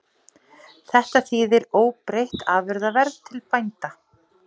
Þetta þýðir óbreytt afurðaverð til bænda